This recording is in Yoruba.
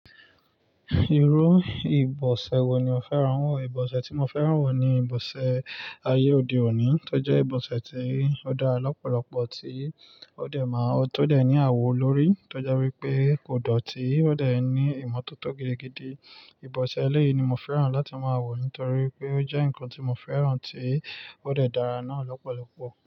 Irú ìbọ̀sẹ̀ wo ni ò fẹ́ràn wọ̀? Ìbọ̀sẹ̀ tí mo fẹ́ràn wọ̀ ni ìbọ̀sẹ̀ ayé òde òní, tó jẹ́ ìbọ̀sẹ̀ tí ó dára lọ́pọ̀lọpo, tí ó dẹ̀ máa, tó dẹ̀ ní àwo lori, tó jọ wípé kò dọ̀tí, ó dẹ̀ ní ìmọ̀tótó gidigidi. Ìbọ̀sẹ̀ eléyìí ni mo fẹ́ràn láti máa wọ̀ nítorí pé ó jẹ́ ǹkan tí mo fẹ́ràn tí ó dẹ̀ dára náà lọ́pọ̀lọpọ̀.